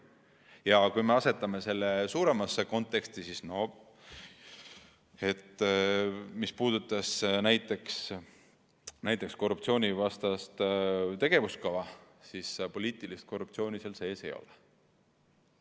Ja kui me asetame selle laiemasse konteksti, siis mis puudutab näiteks korruptsioonivastast tegevuskava, siis poliitilist korruptsiooni seal sees ei ole.